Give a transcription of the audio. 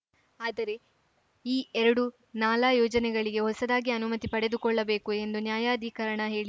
ಆದರೆ ಈ ಎರಡು ನಾಲಾ ಯೋಜನೆಗಳಿಗೆ ಹೊಸದಾಗಿ ಅನುಮತಿ ಪಡೆದುಕೊಳ್ಳಬೇಕು ಎಂದು ನ್ಯಾಯಾಧಿಕರಣ ಹೇಳಿ